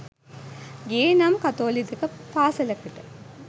ගියෙ නම් කතෝලික පාසැලකට